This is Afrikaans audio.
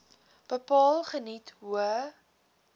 bepaal geniet hoë